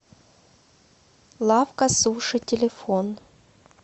лавка суши телефон